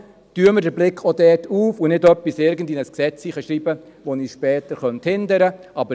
Darum öffnen wir auch hier den Blick und schreiben nicht etwas in irgendein Gesetz, das uns später hindern könnte.